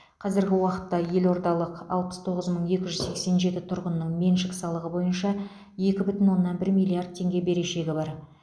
қазіргі уақытта елордалық алпыс тоғыз мың екі жүз сексен жеті тұрғынның меншік салығы бойынша екі бүтін оннан бір миллиард теңге берешегі бар